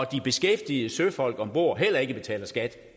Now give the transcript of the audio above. de beskæftigede søfolk ombord heller ikke betaler skat